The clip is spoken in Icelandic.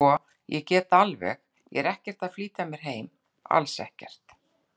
Sko. ég get alveg. ég er ekkert að flýta mér heim, alls ekki.